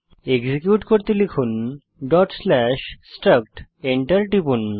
execute করতে লিখুন structডট স্লেস স্ট্রাক্ট enter টিপুন